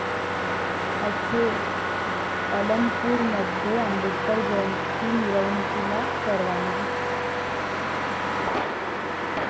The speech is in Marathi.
अखेर अलमपूरमध्ये आंबेडकर जयंती मिरवणुकीला परवानगी